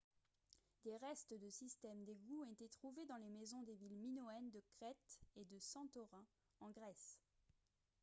des restes de systèmes d'égouts ont été trouvés dans les maisons des villes minoennes de crète et de santorin en grèce